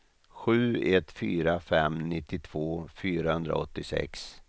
sju ett fyra fem nittiotvå fyrahundraåttiosex